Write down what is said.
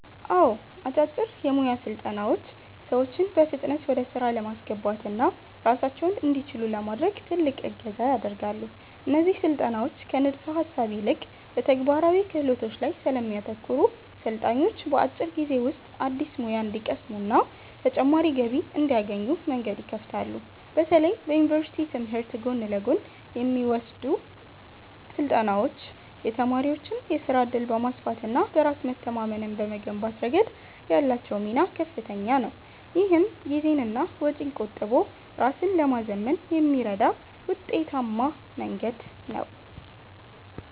አዎ፣ አጫጭር የሞያ ስልጠናዎች ሰዎችን በፍጥነት ወደ ሥራ ለማስገባትና ራሳቸውን እንዲችሉ ለማድረግ ትልቅ እገዛ ያደርጋሉ። እነዚህ ስልጠናዎች ከንድፈ-ሐሳብ ይልቅ በተግባራዊ ክህሎቶች ላይ ስለሚያተኩሩ፣ ሰልጣኞች በአጭር ጊዜ ውስጥ አዲስ ሙያ እንዲቀስሙና ተጨማሪ ገቢ እንዲያገኙ መንገድ ይከፍታሉ። በተለይ በዩኒቨርሲቲ ትምህርት ጎን ለጎን የሚወሰዱ ስልጠናዎች የተማሪዎችን የሥራ ዕድል በማስፋትና በራስ መተማመንን በመገንባት ረገድ ያላቸው ሚና ከፍተኛ ነው። ይህም ጊዜንና ወጪን ቆጥቦ ራስን ለማዘመን የሚረዳ ውጤታማ መንገድ ነው።